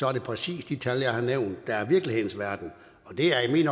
er det præcis de tal jeg har nævnt der er af virkelighedens verden og det er i